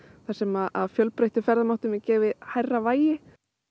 þar sem fjölbreyttum ferðamátum er gefið hærra vægi